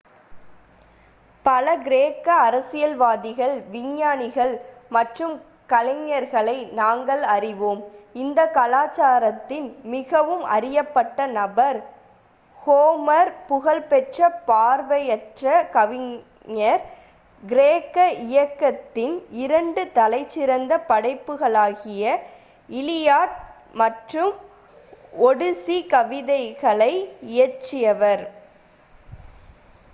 பல கிரேக்க அரசியல்வாதிகள் விஞ்ஞானிகள் மற்றும் கலைஞர்களை நாங்கள் அறிவோம் இந்த கலாச்சாரத்தின் மிகவும் அறியப்பட்ட நபர் ஹோமர் புகழ்பெற்ற பார்வையற்ற கவிஞர் கிரேக்க இலக்கியத்தின் இரண்டு தலைசிறந்த படைப்புகளாகிய இலியாட் மற்றும் ஒடிஸி கவிதைகளை இயற்றியவர்